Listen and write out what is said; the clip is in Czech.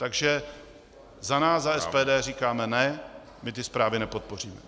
Takže za nás, za SPD, říkáme ne, my ty zprávy nepodpoříme.